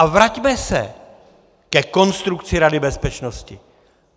A vraťme se ke konstrukci Rady bezpečnosti.